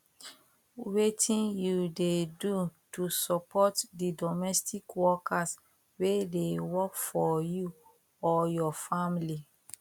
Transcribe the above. wetin you dey do to support di domestic workers wey dey work for you or your family